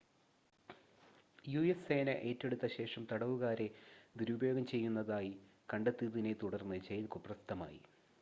US സേന ഏറ്റെടുത്ത ശേഷം തടവുകാരെ ദുരുപയോഗം ചെയ്യുന്നതായി കണ്ടെത്തിയതിനെ തുടർന്ന് ജയിൽ കുപ്രസിദ്ധമായി